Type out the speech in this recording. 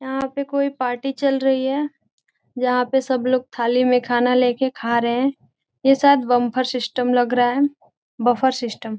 यहाँ पे कोई पार्टी चल रही है जहाँ पे सब लोग थाली में खाना लेके खा रहे है ये शायद बंफर सिस्टम लग रहा है बफर सिस्टम ।